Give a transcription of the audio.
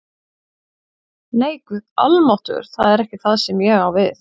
Nei, Guð almáttugur, það er ekki það sem ég á við